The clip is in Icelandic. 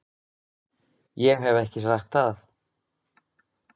Ég hef ekki sagt það!